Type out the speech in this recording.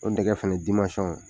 O tɛgɛ fana dimasɔn